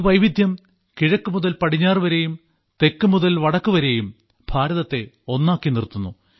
ഈ വൈവിധ്യം കിഴക്കു മുതൽ പടിഞ്ഞാറു വരെയും തെക്കു മുതൽ വടക്കുവരെയും ഭാരതത്തെ ഒന്നാക്കി നിർത്തുന്നു